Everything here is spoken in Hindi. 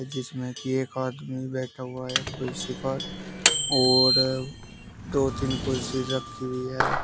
जिसमे की एक आदमी बैठा हुआ है कुर्सी पर और दो तीन कुर्सी रखी हुई है।